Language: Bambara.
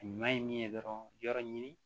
Ɲuman ye min ye dɔrɔn yɔrɔ ɲini